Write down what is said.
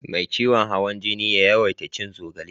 Me ciwon hawan jini ya yawaita cin zogale